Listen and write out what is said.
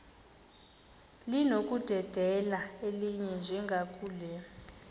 linokudedela elinye njengakule